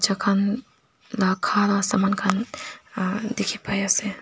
khan dakhana saman khan aa dekhi pai ase.